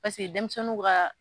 denmisɛnniw ka